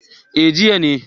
eh jiya ne